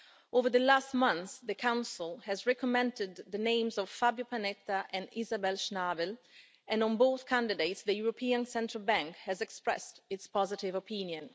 Over the last month, the Council has recommended the names of Fabio Panetta and Isabel Schnabel and on both candidates the European Central Bank has expressed its positive opinion.